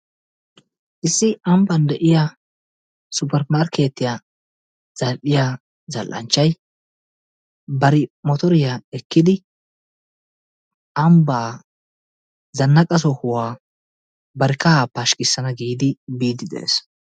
Issi ambbaan de'iyaa supermarkketiyaa zal"iyaa zal"anchchay bari motortiyaa ekkidi ambbaa zanaqqa sohuwaa bari kahaa pashikkisana giidi biidi dees.